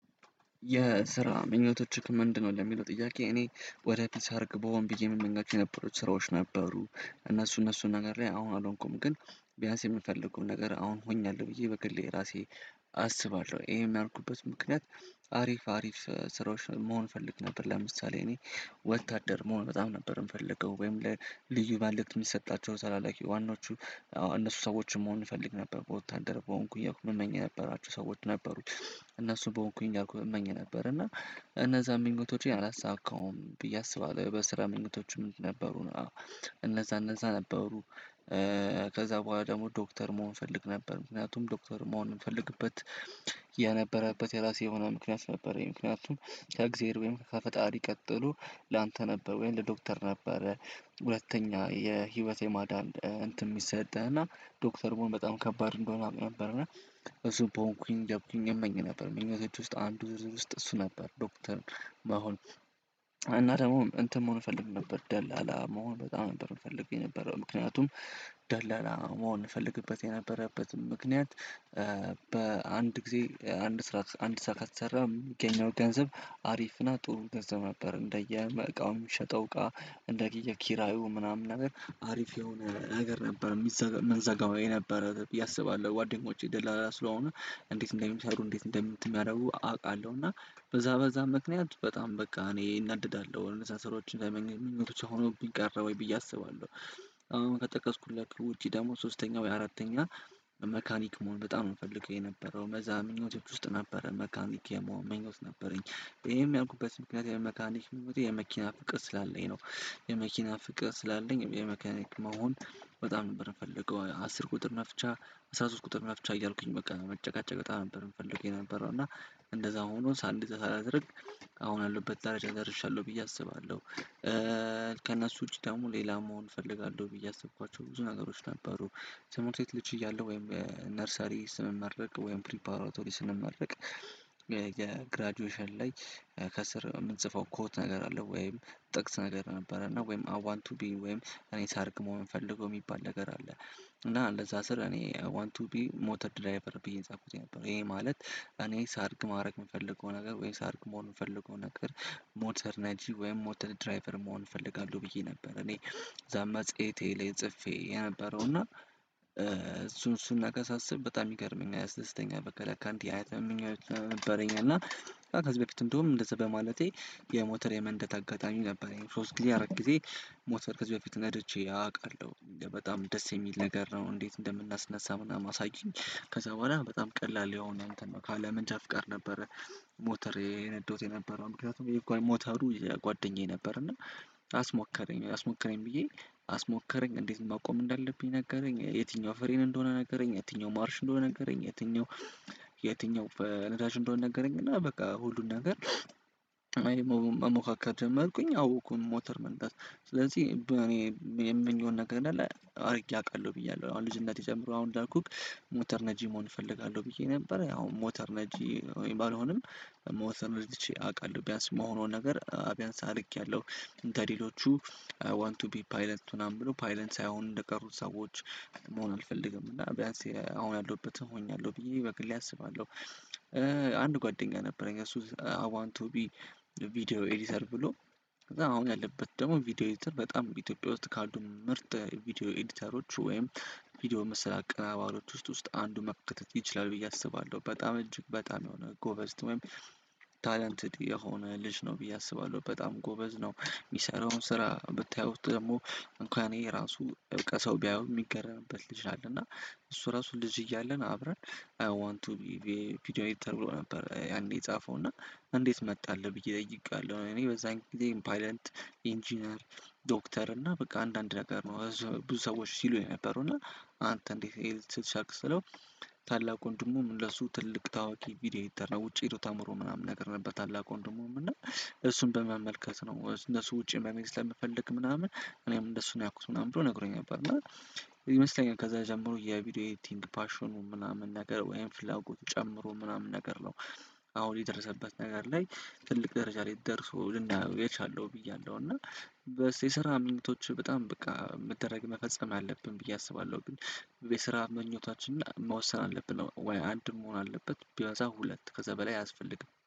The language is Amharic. የስራ ምኞቶችህ ምንድነው? ለሚለው ጥያቄ እኔ ወደፊት ሳድግ ብሆን ብዬ እምመኛቸው የነበሩት ስራዎች ነበሩ። እነሱ እነሱ ነገር ላይ አሁን አልሆንኩም ግን ቢያንስ የምፈልገውን ነገር አሁን ሆኛለሁ። ብዬ በግሌ ራሴ አስባለሁ። ይሄም ያልኩበት ምክንያት አሪፍ አሪፍ ስራዎች መሆን ፈልግ ነበር። ለምሳሌ እኔ ወታደር መሆን በጣም ነበር የምፈልገው ወይም ለልዩ መልእክት የሚሰጣቸው ተላላኪ ዋናዎቹ እነሱ ሰዎችን መሆን እፈልግ ነበር። በወታደር በሆንኩ እያልኩ እምመኝ የነበራቸው ሰዎች ነበሩ። የስራ ምኞቶች ምንድነው? ለሚለው ጥያቄ እኔ ወደ ፒስ አድርግ በሆን ብዬ የምንጋችሁ የነበሩት ስራዎች ነበሩ። እነሱ እነሱ ነገር ላይ አሁን አልሆንኩም ግን ቢያንስ የምፈልገው ነገር አሁን ሆኛለሁ። ብዬ በግሌ ራሴ እነዛ ምኞቶቼን አላሳካውም ብዬ አስባለሁ። በስራ ምኞቶችም ነበሩ አወ እነዛ እነዛ ነበሩ። ከዛ በኋላ ደግሞ ዶክተር መሆን እፈልግ ነበር። ምክንያቱም ዶክተር መሆን የምፈልግበት የነበረበት የራሴ የሆነ ምክንያት ነበረ። ምክንያቱም ከእግዚአብሔር ወይም ከፈጣሪ ቀጥሎ ላንተ ነበር ወይም ለዶክተር ነበረ። ሁለተኛ የህይወቴ የማዳን እንትን የሚሰጠህ እና ዶክተር መሆን በጣም ከባድ እንደሆነ አውቅ ነበር። እና እሱ በሆንኩኝ እያልኩኝ እመኝ ነበር። ምኞቶች ውስጥ አንዱ ዝርዝር ውስጥ እሱ ነበር። ዶክተር መሆን እና ደግሞ እንትን መሆን እፈልግ ነበር ደላላ መሆን በጣም ነበር የምፈልገው። የነበረው ምክንያቱም ደላላ መሆን እፈልግበት የነበረበትም ምክንያት። በአንድ ጊዜ አንድ ስርዓት አንድ ስራ ከተሰራ የሚገኘው ገንዘብ አሪፍ እና ጥሩ ገንዘብ ነበር። እንደየ እቃው የሚሸጠው እቃ እንደየ ኪራዩ ምናምን ነገር አሪፍ የሆነ ነገር ነበር። የሚዘ የምንዘጋው የነበረ ብዬ አስባለሁ። ጓደኞቼ ደላላ ስለሆነ እንዴት እንደሚሠሩ እንዴት እንደምት ሚያደርጉ አውቃለሁ። እና በዛ በዛ ምክንያት በጣም በቃ እኔ እናደዳለሁ እነዛ ስራዎችን ተመኝ ምኞት ብቻ ሆነውብኝ ቀረ ወይ ብዬ አስባለሁ። አሁን ከጠቀስኩላችሁ ውጪ ደግሞ ሶስተኛ ወይ አራተኛ። መካኒክ መሆን በጣም ነው የምፈልገው የነበረው በዛ ምኞቶች ውስጥ ነበረ መካኒክ የመሆን ምኞት ነበረኝ። ይሄም ያልኩበት ምክንያት የመካኒክ ምኞቴ የመኪና ፍቅር ስላለኝ ነው። የመኪና ፍቅር ስላለኝ የመካኒክ መሆን በጣም ነበር የምፈልገው። አስር ቁጥር መፍቻ አስራ ሶስት ቁጥር መፍቻ እያልኩኝ በቃ መጨቃጨቅ በጣም ነበር የምፈልገው። የነበረው እና እንደዛው ሆኖ ሳንዲዝ ሳላደርግ አሁን ካለሁበት ደረጃ ደርሻለሁ ብዬ አስባለሁ። ከእነሱ ውጪ ደግሞ ሌላ መሆን እፈልጋለሁ ብዬ ያሰብኳቸው ብዙ ነገሮች ነበሩ። ትምህርት ቤት ልጅ እያለሁ ወይም ነርሰሪ ስንመረቅ ወይም ፕሪፓራቶሪ ስንመረቅ። የግራጁዌሽን ላይ ከስር የምንጽፈው ኮት ነገር አለ? ወይም ጥቅስ ነገር ነበረ። እና ወይም አይ ዋንት ቱ ቢ ወይም እኔ ሳድግ መሆን የምፈልገው የሚባል ነገር አለ። እና እንደዛ ስር እኔ አይ ዋንት ቱ ቢ ሞተር ድራይቨር ብዬ የጻፍኩት የነበር ይሄ ማለት እኔ ሳድግ ማድረግ የምፈልገው ነገር ወይ ሳድግ መሆን የምፈልገው ነገር ሞተር ነጂ ወይም ሞተር ድራይቨር መሆን እፈልጋለሁ ብዬ ነበር። እኔ እዛ መጽሔቴ ላይ ጽፌ የነበረው። እና እሱን እሱን ነገር ሳስብ በጣም ይገርመኛል ያስደስተኛል በቃ ለካ አንዲህ አይነት ምኞት ነበረኝ። እና ከዚህ በፊት እንደውም እንደዚህ በማለቴ የሞተር የመንደት አጋጣሚ ነበረኝ። ሶስት ጊዜ አራት ጊዜ ሞተር ከዚህ በፊት ነድቼ አውቃለሁ። እንዴ በጣም ደስ የሚል ነገር ነው። እንዴት እንደምናስነሳ ምናምን አሳዩኝ። ከዛ በኋላ በጣም ቀላል የሆነ እንተን ነው ካለ መንጃ ፍቃድ ነበረ። ሞተር የነዳሁት የነበረው ምክንያቱም የጓ ሞተሩ የጓደኛዬ ነበር። እና አስሞከረኝ አስሞክረኝ ብዬ አስሞከረኝ እንዴት ማቆም እንዳለብኝ ነገረኝ። የትኛው ፍሬን እንደሆነ ነገረኝ። የትኛው ማርሽ እንደሆነ ነገረኝ። የትኛው የትኛው በነዳጅ እንደሆነ ነገረኝ። እና በቃ ሁሉን ነገር። መሞካከር ጀመርኩኝ አዎኩኝ ሞተር መንዳት ስለዚህ በእኔ የምመኘውን ነገር እንዳለ አድርጌ አውቃለሁ ብያለሁ። አሁን ልጅነቴ ጀምሮ አሁን እንዳልኩህ ሞተር ነጂ መሆን እፈልጋለሁ ብዬ ነበር። ያው ሞተር ነጂ ባልሆንም ሞተር ነድቼ አውቃለሁ። ቢያንስ የምሆነውን ነገር ቢያንስ አድርጌያለሁ። እንደ ሌሎቹ አይ ዋንት ቱ ቢ ፓይለት ምናምን ብሎ ፓይለት ሳይሆን እንደቀሩት ሰዎች። መሆን አልፈልግም እና ቢያንስ አሁን ያለሁበት ሆኛለሁ ብዬ በግሌ አስባለሁ። አንድ ጓደኛ ነበረኝ እሱ አይ ዋንት ቱ ቢ ቪዲዮ ኤዲተር ብሎ። ከዛ አሁን ያለበት ደግሞ ቪዲዮ ኤዲተር በጣም ኢትዮጵያ ውስጥ ካሉ ምርጥ ቪዲዮ ኤዲተሮች ወይም ቪዲዮ ምስል አቀናባሪዎች ውስጥ ውስጥ አንዱ መካተት ይችላል ብዬ አስባለሁ። በጣም እጅግ በጣም የሆነ ጎበዝት ወይም ታለንትድ የሆነ ልጅ ነው ብዬ አስባለሁ። በጣም ጎበዝ ነው የሚሠራውን ስራ ብታዩት ደግሞ። እንኳን እኔ ራሱ በቃ ሰው ቢያየው የሚገርምበት ልጅ አለ። እና እሱ ራሱ ልጅ እያለን አብረን አይ ዋንት ቱ ቢ ቪ ቪዲዮ ኤዲተር ብሎ ነበር። ያኔ የጻፈው እና እንዴት መጣለህ ብዬ ጠይቄዋለሁ። እኔ በዛን ጊዜ ፓይለት ኢንጂነር ዶክተር እና በቃ አንዳንድ ነገር ነው ብዙ ሰዎች ሲሉ የነበሩ እና አንተ እንዴት ይሄን ልትል ስለው። ታላቅ ወንድሙም ለሱ ትልቅ ታዋቂ ቪዲዮ ኤዲተር ነው ውጪ ሄዶ ተምሮ ምናምን ነገር ነበር። ታላቅ ወንድሙም እና እሱን በመመልከት ነው እነሱ ውጪ መሜ ስለምፈልግ ምናምን እኔም እንደሱ ነው ያልኩት ምናምን ብሎ ነግሮኝ ነበር። እና ይመስለኛል ከዛ ጀምሮ የቪዲዮ ኤዲቲንግ ፓሽኑ ምናምን ነገር ወይም ፍላጎቱ ጨምሮ ምናምን ነገር ነው። አሁን የደረሰበት ነገር ላይ ትልቅ ደረጃ ላይ ደርሶ ልናየው የቻለው ብያለሁ። እና በየሥራ ምኞቶች በጣም በቃ መደረግ መፈጸም አለብን ብዬ አስባለሁ። ግን የስራ ምኞታችን መወሰን አለብን ወይ አንድ መሆን አለበት ቢበዛ ሁለት ከዛ በላይ አያስፈልግም